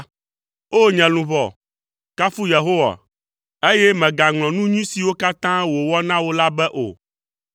O! Nye luʋɔ, kafu Yehowa, eye mègaŋlɔ nu nyui siwo katã wòwɔ na wò la be o.